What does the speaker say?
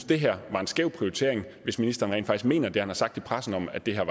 det her var en skæv prioritering hvis ministeren rent faktisk mener det han har sagt i pressen om at det her